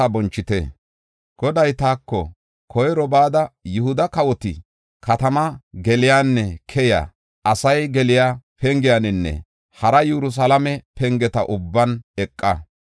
Goday taako, “Koyro bada Yihuda kawoti katamaa geliyanne keyiya, asay geliya pengiyaninne hara Yerusalaame pengeta ubban eqa.